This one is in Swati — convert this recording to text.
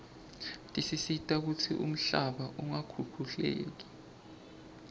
tisita kutsi umhlaba ungakhukhuleki